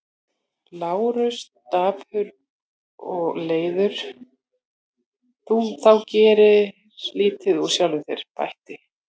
Lárus dapur og reiður, þú gerir lítið úr sjálfum þér, bætti